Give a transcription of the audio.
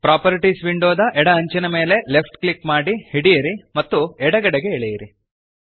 properties ವಿಂಡೋದ ಎಡ ಅಂಚಿನ ಮೇಲೆ ಲೆಫ್ಟ್ ಕ್ಲಿಕ್ ಮಾಡಿ ಹಿಡಿಯಿರಿ ಮತ್ತು ಎಡಗಡೆಗೆ ಎಳೆಯಿರಿ